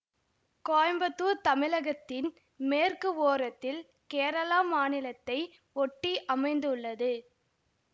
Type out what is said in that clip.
கோயம்புத்தூர் தமிழகத்தின் மேற்கு ஓரத்தில் கேரள மாநிலத்தை ஒட்டி அமைந்துள்ளது